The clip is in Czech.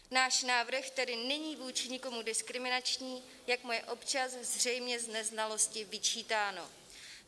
Náš návrh tedy není vůči nikomu diskriminační, jak mu je občas zřejmě z neznalosti vyčítáno.